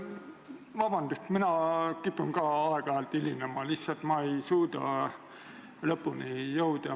Vabandust, mina kipun ka vahel aega ületama, ma lihtsalt ei suuda õigel ajal lõpuni jõuda.